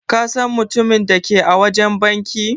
Ka San mutumin da ke a wajen banki?